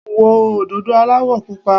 Wo òdòdó aláwọ̀ Pupa.